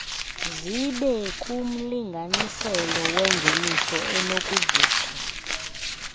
zibekumlinganiselo wengeniso enokuvutha